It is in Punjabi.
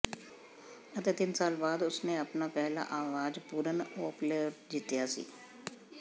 ਅਤੇ ਤਿੰਨ ਸਾਲ ਬਾਅਦ ਉਸ ਨੇ ਆਪਣਾ ਪਹਿਲਾ ਆਵਾਜ਼ ਪੂਰਨ ਅੋਪਲੇਟ ਜਿੱਤਿਆ ਸੀ